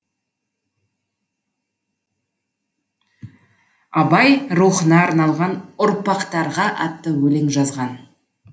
абай рухына арналған ұрпақтарға атты өлең жазған